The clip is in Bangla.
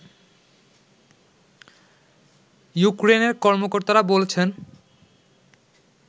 ইউক্রেনের কর্মকর্তারা বলছেন